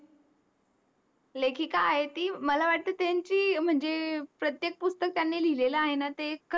लेखिका आहे ती मला वाटे त्यांची म्हणजे प्रत्येक पुस्तक त्यांनी लिहिलेल आहे न ते